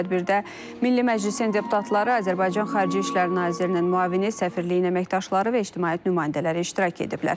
Tədbirdə Milli Məclisin deputatları, Azərbaycan Xarici İşlər Nazirinin müavini, səfirliyin əməkdaşları və ictimaiyyət nümayəndələri iştirak ediblər.